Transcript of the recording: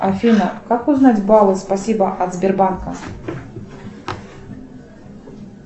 афина как узнать баллы спасибо от сбербанка